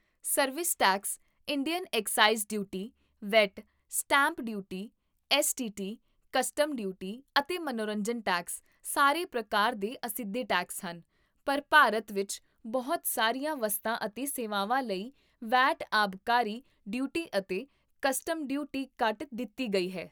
service tax, Indian excise duty, VAT, stamp duty, STT, custom duty, ਅਤੇ ਮਨੋਰੰਜਨ tax, ਸਾਰੇ ਪ੍ਰਕਾਰ ਦੇ ਅਸਿੱਧੇ ਟੈਕਸ ਹਨ, ਪਰ ਭਾਰਤ ਵਿੱਚ ਬਹੁਤ ਸਾਰੀਆਂ ਵਸਤਾਂ ਅਤੇ ਸੇਵਾਵਾਂ ਲਈ ਵੈਟ, ਆਬਕਾਰੀ ਡਿਊਟੀ, ਅਤੇ ਕਸਟਮ ਡਿਊਟੀ ਕੱਟ ਦਿੱਤੀ ਗਈ ਹੈ